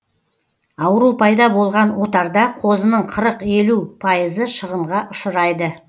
ауру пайда болған отарда қозының қырық елу пайызы шығынға ұшырайды